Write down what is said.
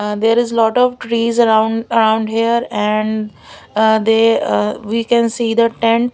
uh there is lot of trees around around here and uh they we can see the tent --